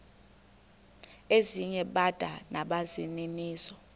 ezinye bada nabaninizo